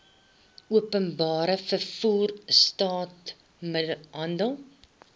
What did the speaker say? openbare vervoer straathandel